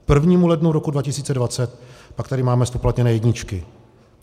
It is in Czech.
K 1. lednu roku 2020 pak tady máme zpoplatněné jedničky.